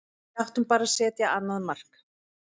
Við áttum bara að setja annað mark.